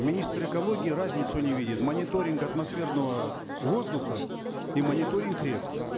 министр экологии разницу не видит мониторинг атмосферного воздуха и мониторинг рек